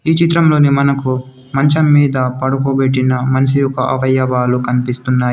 ఈ చిత్రంలోని మనకు మంచం మీద పడుకోబెట్టిన మనిషి యొక్క అవయవాలు కనిపిస్తున్నాయి.